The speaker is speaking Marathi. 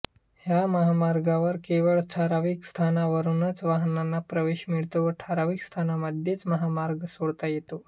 ह्या महामार्गावर केवळ ठराविक स्थानांवरूनच वाहनांना प्रवेश मिळतो व ठराविक स्थानांमध्येच महामार्ग सोडता येतो